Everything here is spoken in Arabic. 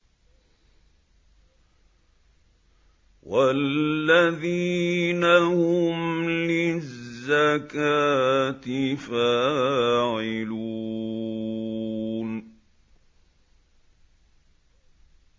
وَالَّذِينَ هُمْ لِلزَّكَاةِ فَاعِلُونَ